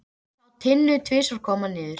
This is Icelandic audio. Hann sá Tinnu tvisvar koma niður.